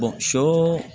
shɔ